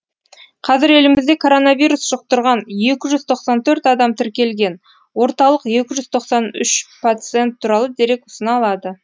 қазір елімізде коронавирус жұқтырған екі жүз тоқсан төрт адам тіркелген орталық екі жүз тоқсан үш пациент туралы дерек ұсына алады